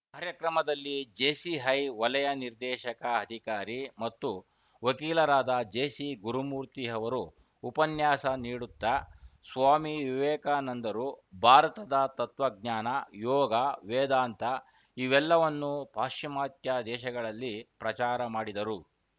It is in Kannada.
ಕಾರ್ಯಕ್ರಮದಲ್ಲಿ ಜೆಸಿಹೈ ವಲಯ ನಿರ್ದೇಶಕ ಅದಿಕಾರಿ ಮತ್ತು ವಕೀಲರಾದ ಜೆಸಿ ಗುರುಮೂರ್ತಿ ಅವರು ಉಪನ್ಯಾಸ ನೀಡುತ್ತ ಸ್ವಾಮಿ ವಿವೇಕಾನಂದರು ಭಾರತದ ತತ್ವಜ್ಞಾನ ಯೋಗ ವೇದಾಂತ ಇವೆಲ್ಲವನ್ನು ಪಾಶ್ಚಿಮಾತ್ಯ ದೇಶಗಳಲ್ಲಿ ಪ್ರಚಾರ ಮಾಡಿದರು